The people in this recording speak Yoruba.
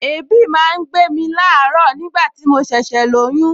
Èébì máa ń gbé ní àárọ̀ nigbati mo ṣẹ̀ṣẹ̀ lóyún